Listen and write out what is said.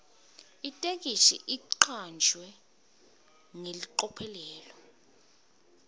itheksthi icanjwe ngelicophelo